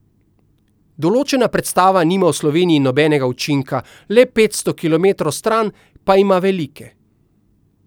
Določena predstava nima v Sloveniji nobenega učinka, le petsto kilometrov stran pa ima velike.